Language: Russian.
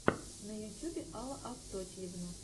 на ютюбе алла евтодьева